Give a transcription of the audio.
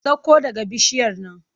Sakko daga bishiyar nan!